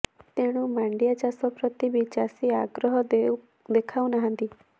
ତେଣୁ ମାଣ୍ଡିଆ ଚାଷ ପ୍ରତି ବି ଚାଷୀ ଆଗ୍ରହ ଦେଖାଉ ନାହାଁନ୍ତି